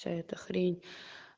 вся эта хрень